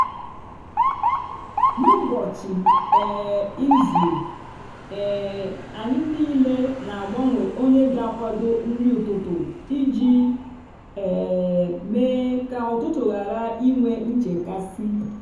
n’ụbọchị um izu um anyị niile na-agbanwe onye ga akwado nri ụtụtụ iji um mee ka ụtụtụ ghara inwe nchekasị